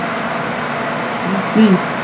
Nýtt líf, nýtt líf!